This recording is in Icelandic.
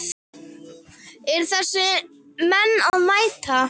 Eru þessir menn að mæta?